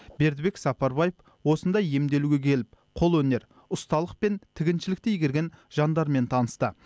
бердібек сапарбаев осында емделуге келіп қолөнер ұсталық пен тігіншілікті игерген жандармен танысты